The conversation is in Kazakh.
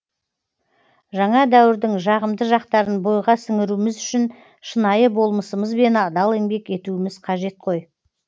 жаңа дәуірдің жағымды жақтарын бойға сіңіруіміз үшін шынайы болмысымызбен адал еңбек етуіміз қажет қой